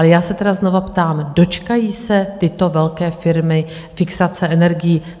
Ale já se tedy znovu ptám: Dočkají se tyto velké firmy fixace energií?